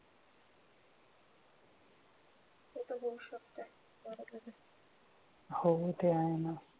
होते आहे ना